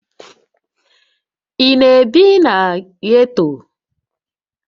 Ị na-ebi na ghetto?